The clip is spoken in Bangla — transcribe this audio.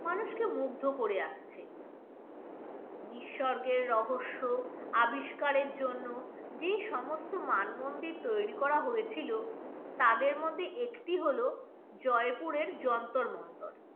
মানুষকে মুগ্ধ করে আসছে নিঃস্বর্গের রহস্য আবিষ্কারের জন্য যে সমস্ত মান মন্দির তৈরি করা হয়েছিল তাদের মধ্যে একটি হল জয়পুরের যন্তর মন্তর।